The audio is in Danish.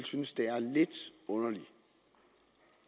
synes det er lidt underligt